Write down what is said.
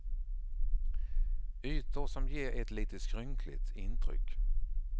Ytor som ger ett lite skrynkligt intryck.